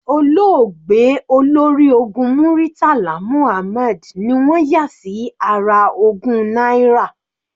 Olóògbé Olórí ológun Muritala Muhammad ni wọ́n yà sí ara ogún náírà.